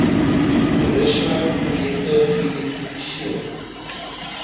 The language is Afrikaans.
toerisme projekte geidentifiseer